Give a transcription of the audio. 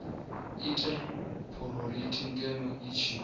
ite phurofiti ngeno i tshi